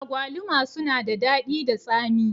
Agwaluma sunada daɗi da tsami.